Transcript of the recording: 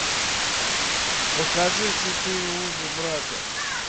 покажи святые узы брака